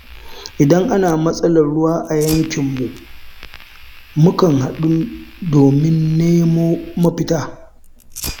Idan ana matsalar ruwa a yankinmu, mukan haɗu domin mu nemo mafita.